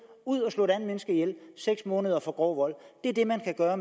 ud at slå et andet menneske ihjel det seks måneder for grov vold det er det man kan gøre